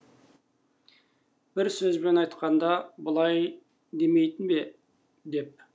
бір сөзбен айтқанда былай демейтін бе деп